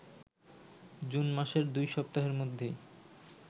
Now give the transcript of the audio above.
June মাসের ২ সপ্তাহের মধ্যেই